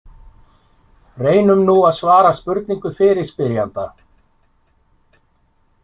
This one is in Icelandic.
Reynum nú að svara spurningu fyrirspyrjanda.